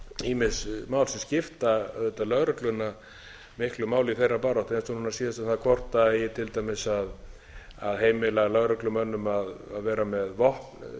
ýmis mál sem skipta auðvitað lögregluna miklu máli í þeirra baráttu eins og núna síðast um það hvort eigi til dæmis að heimila lögreglumönnum að vera með vopn skotvopn í bílunum hvort